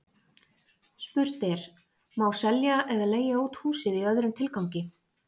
Spurt er: Má selja eða leigja út húsið í öðrum tilgangi?